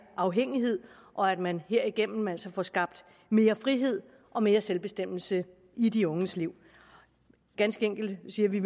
afhængighed og at man herigennem altså får skabt mere frihed og mere selvbestemmelse i de unges liv ganske enkelt siger vi